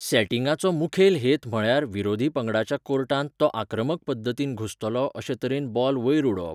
सॅटिंगाचो मुखेल हेत म्हळ्यार विरोधी पंगडाच्या कोर्टांत तो आक्रमक पद्दतीन घुसतलो अशे तरेन बॉल वयर उडोवप.